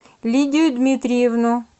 лидию дмитриевну